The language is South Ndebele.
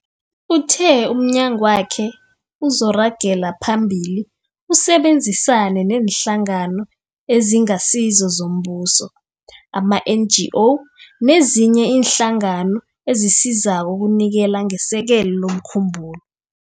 Uthe umnyagwakhe uzoragela phambili usebenzisane neeNhlangano eziNgasizo zoMbuso, ama-NGO, nezinye iinhlangano ezisizako ukunikela ngesekelo lomkhumbulo.